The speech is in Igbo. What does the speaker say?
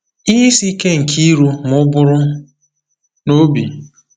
Ihe Isi Ike nke iru Ma ụbụrụ na Obi.